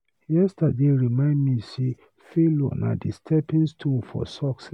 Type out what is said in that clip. Yesterday remind me say failure na di stepping stone for success.